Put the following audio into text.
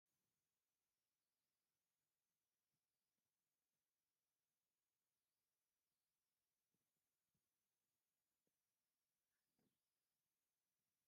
ናይ መቐለ ሓወልቲ ኣብ በሪኽ ቦታ እያ ዘላ፡፡ ኣብኣ ኮይንካ ንፅባቐ ከተማ መቐለ ክተድንቕ ትኽእል፡፡ እዛ ሓወልቲ መዓስ ዓመተ ምሕረት ተሰሪሓ?